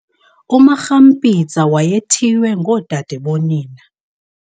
UMakgampetsa wayethiywe ngodadebonina.